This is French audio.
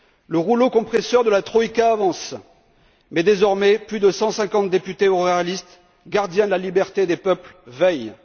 Le rouleau compresseur de la Troïka avance mais désormais plus de 150 députés réalistes, gardiens de la liberté des peuples, veillent.